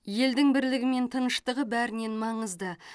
елдің бірлігі мен тыныштығы бәрінен маңызды